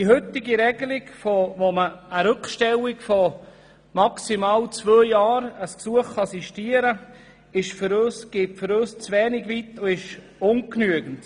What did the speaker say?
Die heutige Regelung, wonach man ein Gesuch während maximal zwei Jahren sistieren kann, geht für uns zu wenig weit und ist ungenügend.